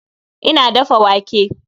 Ina dafa wake